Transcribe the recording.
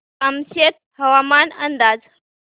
कामशेत हवामान अंदाज